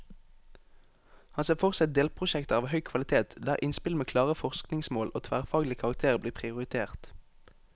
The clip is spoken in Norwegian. Han ser for seg delprosjekter av høy kvalitet, der innspill med klare forskningsmål og tverrfaglig karakter blir prioritert.